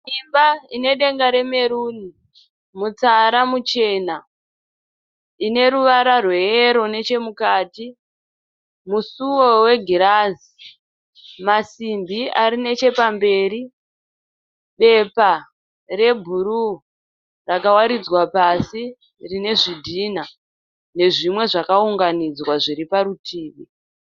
Imba ine denga remeruni mutsara muchena, ine ruvara rweyero neche mukati, musuwo wegirazi, masimbi ari neche pamberi, bepa rebhuruu rakawaridzwa pasi rine zvidhinha nezvimwe zvakaunganidzwa zviri parutivi.